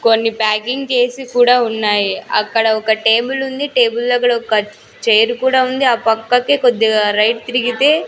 కొన్ని ప్యాకింగ్ చేసి కూడా ఉన్నాయి అక్కడ ఒక టేబులుంది టేబుల్ దగ్గడ ఒక చైర్ కూడా ఉంది ఆ పక్కకి కొద్దిగా రైట్ తిరిగితే--